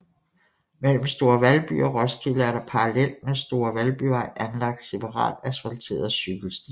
Mellem Store Valby og Roskilde er der parallelt med Store Valbyvej anlagt separat asfalteret cykelsti